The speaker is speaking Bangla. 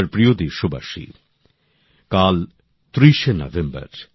আমার প্রিয় দেশবাসী কাল ৩০ শে নভেম্বর